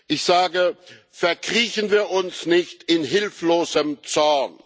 Ich sage Verkriechen wir uns nicht in hilflosem Zorn.